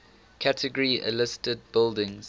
category a listed buildings